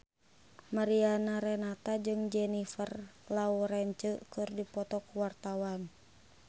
Mariana Renata jeung Jennifer Lawrence keur dipoto ku wartawan